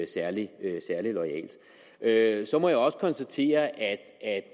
særlig loyalt så må jeg også konstatere at